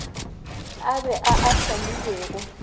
a be a a hlamilwego